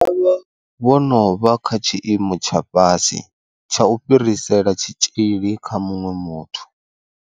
Vha vha vho no vha kha tshiimo tsha fhasi tsha u fhirisela tshitzhili kha muṅwe muthu.